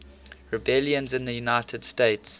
rebellions in the united states